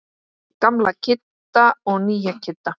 Gamla Kidda og nýja Kidda.